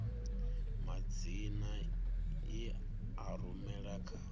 madzina i a rumela kha